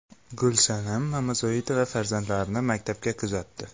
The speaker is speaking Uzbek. Gulsanam Mamazoitova farzandlarini maktabga kuzatdi.